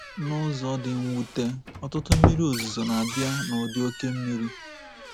N’ụzọ dị mwute, ọtụtụ mmiri ozuzo na-abịa nụdị oké mmiri.